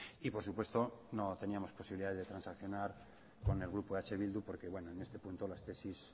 y por supuesto no teníamos posibilidades de transaccionar con el grupo eh bildu porque bueno en este punto las tesis